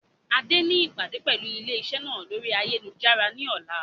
Adé ni ìpàdé pẹlu ilé iṣẹ́ náà lórí ayélujára ni ọ̀la.